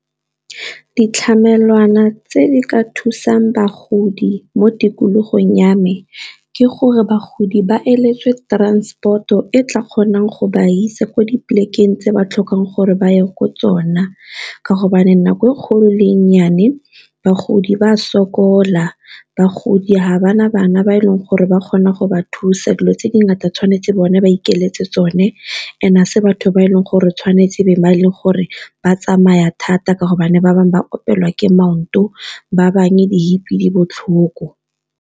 Ditlamelwana tse di ka thusang bagodi mo tikologong ya me ke gore bagodi ba transport o e tla kgonang go ba ise kwa di polekeng tse ba tlhokang gore ba ye ko tsona, ka hobane nako e kgolo le e nnyane bagodi ba sokola bagodi ga bana bana ba e leng gore ba kgona go ba thusa, dilo tse dingata tshwanetse bone ba ikaeletse tsone and-e ga ese batho ba e leng gore tshwanetse be ba e leng gore ba tsamaya thata ka hobane ba bangwe ba opelwa ke maoto ba bangwe di-hip di botlhoko